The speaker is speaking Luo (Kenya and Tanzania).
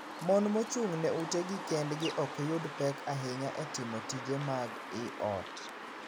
Mon mochung' ne utegi kendgi ok yud pek ahinya e timo tije mag ii ot.